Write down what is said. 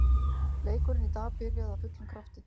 Leikurinn í dag byrjaði af fullum krafti.